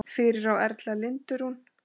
Fyrir á Erla Lindu Rún.